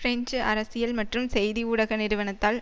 French அரசியல் மற்றும் செய்தி ஊடக நிறுவனத்தால்